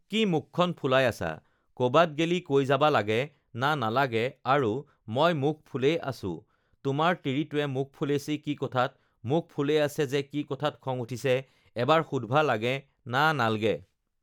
কি মুখখন ফুলাই আছা কবাত গেলি কৈ যাবা লাগে না নালাগে আৰু মই মুখ ফুলেই আছু তোমাৰ তিৰিটোৱে মুখ ফুলেছি কি কথাত মুখ ফুলে আছে যে কি কথাত খং উঠছে এবাৰ সুধবা লাগে না নালগে